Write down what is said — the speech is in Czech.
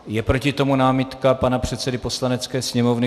Je proti tomu námitka pana předsedy Poslanecké sněmovny.